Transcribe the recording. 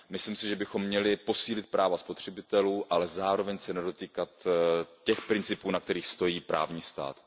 Myslím si, že bychom měli posílit práva spotřebitelů, ale zároveň se nedotýkat těch principů, na kterých stojí právní stát.